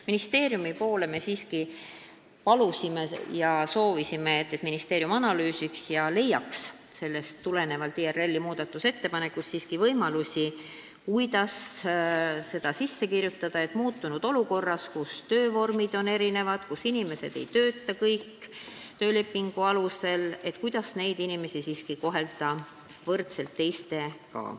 Ministeeriumilt me aga palusime, et seal analüüsitaks IRL-i muudatusettepanekuid ja leitaks võimalus neid mingil moel arvestada, et muutunud olukorras, kus töövormid on erinevad ja inimesed ei tööta kõik töölepingu alusel, siiski tagada võrdne kohtlemine.